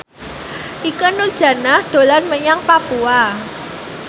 Ikke Nurjanah dolan menyang Papua